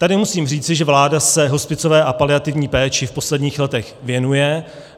Tady musím říci, že vláda se hospicové a paliativní péči v posledních letech věnuje.